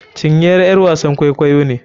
Cinyere ƴar wasan kwaikwayo ne.